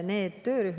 Kalle Grünthal, palun!